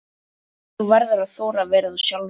Þú verður að þora að vera þú sjálf.